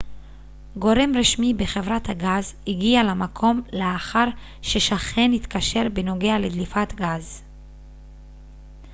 גורם רשמי בחברת הגז הגיע למקום לאחר ששכן התקשר בנוגע לדליפת גז